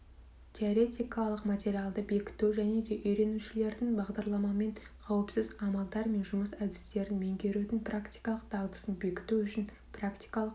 теоретикалық материалды бекіту және де үйренушілердің бағдарламамен қауіпсіз амалдар мен жұмыс әдістерін меңгерудің практикалық дағдысын бекіту үшін практикалық